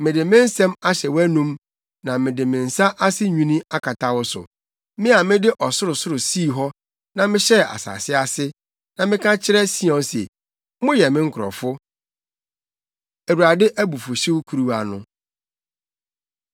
Mede me nsɛm ahyɛ wʼanom, na mede me nsa ase nwini akata wo so. Me a mede ɔsorosoro sii hɔ na mehyɛɛ asase ase, na meka kyerɛ Sion se, ‘Moyɛ me nkurɔfo.’ ” Awurade Abufuwhyew Kuruwa No